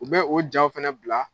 U bɛ o jaaw fɛnɛ bila